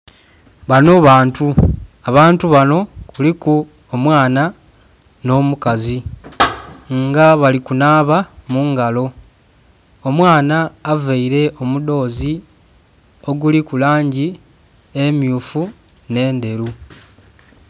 Banho bantu, abantu banho kuliku omwaana nho'mukazi nga bali okunhaba mungalo omwaana avaire omudhozi oguliku langi emyufu nhe ndheru.